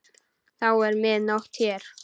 Þá er mið nótt hér.